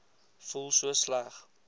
voel so sleg